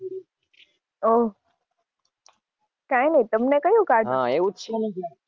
ઓહ કઈ નહીં તમને કયું કાર્ટૂન